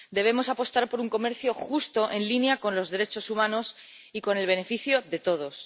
Debemos apostar por un comercio justo en línea con los derechos humanos y con el beneficio de todos.